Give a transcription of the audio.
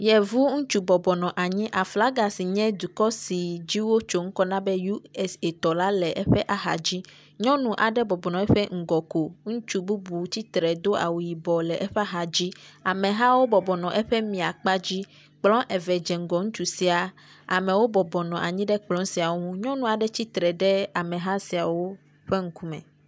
Yevu ŋutsu bɔbɔ nɔ anyi. Aflagi si nye dukɔ si wotso ŋkɔ na be U. S. A tɔ la le eƒe axadzi. Nyɔnu aɖe bɔbɔ nɔ eƒe ŋgɔ ko. Ŋutsu bubu tsitre do awu yibɔ le eƒe axadzi. Amehawo bɔbɔ nɔ eƒe mia kpa dzi. Kplɔ eve dzɔ ŋgɔ ŋutsu sia. Amewo bɔbɔ nɔ anyi ɖe kplɔ siawo ŋu, Nyɔnu aɖe tsitre ɖe ameha siawo ƒe ŋkume